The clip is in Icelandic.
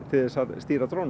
stýra